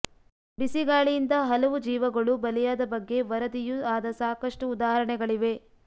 ಬಿಸಿಗಾಳಿಯಿಂದ ಹಲವು ಜೀವಗಳೂ ಬಲಿಯಾದ ಬಗ್ಗೆ ವರದಿಯೂ ಆದ ಸಾಕಷ್ಟು ಉದಾಹಾಣೆಗಳಿವೆ